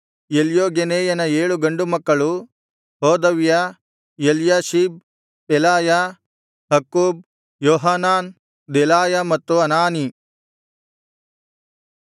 ಎಲ್ಯೋಗೆನೈಯನ ಏಳು ಗಂಡು ಮಕ್ಕಳು ಹೋದವ್ಯ Eliashib Pelaiah Akkub Johanan Delaiah ಮತ್ತು ಅನಾನೀ